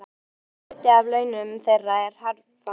Og hluti af launum þeirra er herfang.